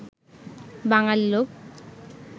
বাঙালী লোক